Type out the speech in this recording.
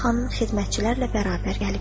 Səbah xanım xidmətçilərlə bərabər gəlibdir.